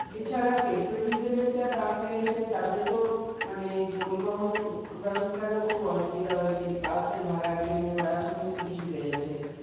এছাড়া petrol diesel এর যা দাম বেড়েছে তাতে তো মানে পরিবহন ব্যবস্থার ও খুবই অসুবিধা হয়েছে বাসের ভাড়ার train ভাড়া সমস্ত সব কিছু বেড়েছে